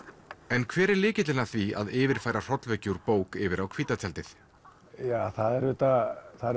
en hver er lykillinn að því að yfirfæra hrollvekju úr bók yfir á hvíta tjaldið það er auðvitað það